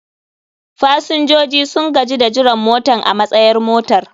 fasinjoji sun gaji da jiran motan a matsayar motar.